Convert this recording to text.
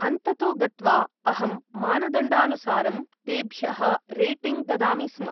अन्ततो गत्वा अहं मानदण्डानुसारं तेभ्यः रेटिङ्ग् ददामि स्म।